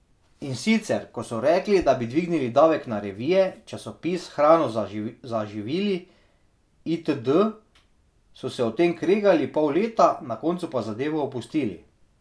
In sicer ko so rekli da bi dvignili davek na revije, časopis, hrano za živili itd, so se o tem kregali pol leta, na koncu pa zadevo opustili.